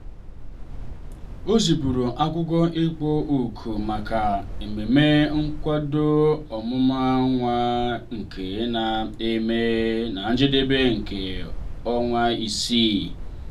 o zipụrụ akwụkwọ ịkpọ òkù maka ememme nkwado ọmụmụ nwa nke ga eme na njedebe nke ọnwa isii.